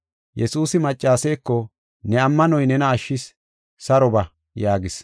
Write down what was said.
Yesuusi maccaseeko, “Ne ammanoy nena ashshis; saro ba” yaagis.